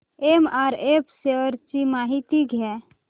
MRF shares ची माहिती द्या